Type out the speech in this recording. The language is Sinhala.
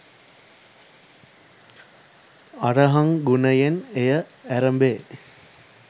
අරහං ගුණයෙන් එය ඇරැඹේ.